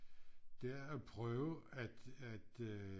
Det er at prøve at at øh